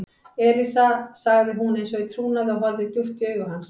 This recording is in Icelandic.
Elísa sagði hún eins og í trúnaði og horfði djúpt í augu hans.